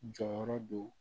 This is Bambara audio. Jɔyɔrɔ do